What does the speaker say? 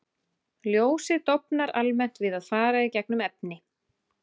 Ljósið dofnar almennt við að fara í gegnum efni.